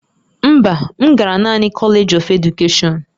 Mba, m gara naanị College of Education